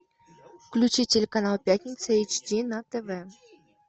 включи телеканал пятница эйч ди на тв